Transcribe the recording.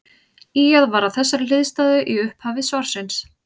Ýjað var að þessari hliðstæðu í upphafi svarsins.